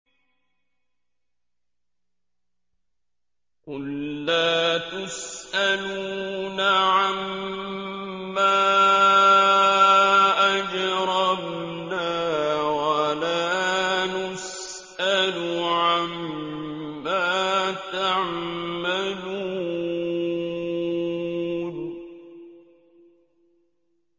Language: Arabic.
قُل لَّا تُسْأَلُونَ عَمَّا أَجْرَمْنَا وَلَا نُسْأَلُ عَمَّا تَعْمَلُونَ